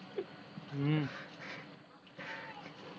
હમ